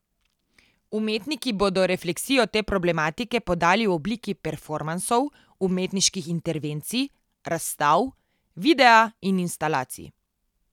Umetniki bodo refleksijo te problematike podali v obliki performansov, umetniških intervencij, razstav, videa in instalacij.